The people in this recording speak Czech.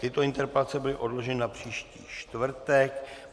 Tyto interpelace byly odloženy na příští čtvrtek.